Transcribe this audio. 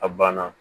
A banna